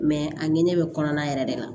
Mɛ a ni ne bɛ kɔnɔna yɛrɛ de la